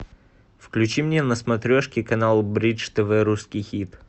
включи мне на смотрешке канал бридж тв русский хит